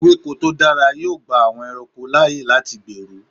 Ewéko tó dára yóò gba àwọn ẹranko láyè láti gbèrú.